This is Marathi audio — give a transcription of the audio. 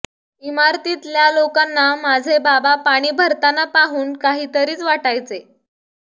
इमारतीतल्या लोकांना माझे बाबा पाणी भरतांना पाहून काहीतरीच वाटायचे